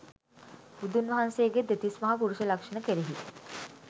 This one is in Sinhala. බුදුන් වහන්සේගේ දෙතිස් මහා පුරුෂ ලක්ෂණ කෙරෙහි